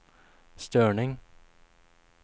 störning